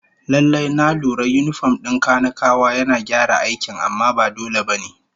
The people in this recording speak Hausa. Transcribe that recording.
Lallai, na lura yinifom din kanikawa yana gyara aikin amma ba dole ba ne